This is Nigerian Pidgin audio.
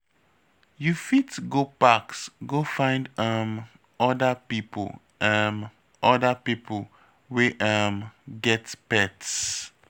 You fit go parks go find um oda pipo um oda pipo wey um get pets